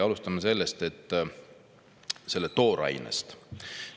Alustame toorainest.